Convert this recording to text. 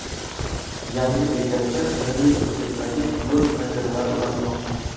Yangi bekatga milliy uslubdagi yo‘l panjaralari o‘rnatilmoqda.